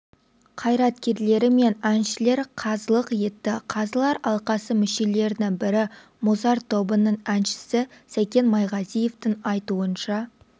қайраткерлері мен әншілер қазылық етті қазылар алқасы мүшелерінің бірі мұзарт тобының әншісі сәкен майғазиевтің айтуынша